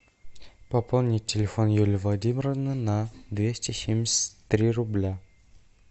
пополнить телефон юлии владимировны на двести семьдесят три рубля